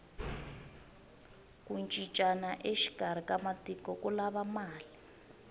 ku cincana exikarhi ka matiko ku lava mali